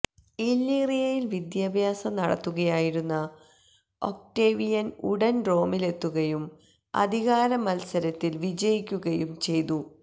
ഇല്ലീറിയയിൽ വിദ്യാഭ്യാസം നടത്തുകയായിരുന്ന ഒക്ടേവിയൻ ഉടൻ റോമിലെത്തുകയും അധികാര മത്സരത്തിൽ വിജയിക്കുകയും ചെയ്തു